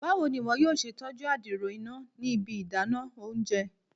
Bawo ni iwọ yoo ṣe tọju adiro ina ni ibi idana ounjẹ?